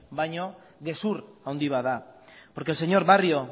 baino gezur handi bat da porque el señor barrio